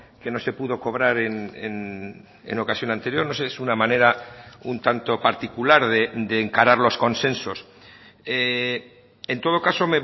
que no se pudo cobrar en ocasión anterior no sé es una manera un tanto particular de encarar los consensos en todo caso